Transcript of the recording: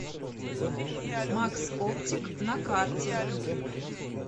макс оптик на карте